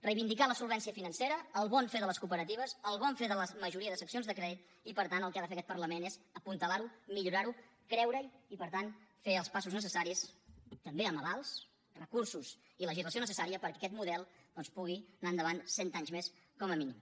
reivindicar la solvència financera el bon fer de les cooperatives el bon fer de la majoria de seccions de crèdit i per tant el que ha de fer aquest parlament és apuntalarho millorarho creurehi i per tant fer els passos necessaris també amb avals recursos i legislació necessària perquè aquest model pugui anar endavant cent anys més com a mínim